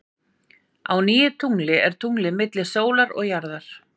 Á nýju tungli er tunglið milli sólar og jarðar.